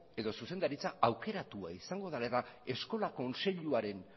edo zuzendaritza aukeratu izango dela eta eskola kontseiluaren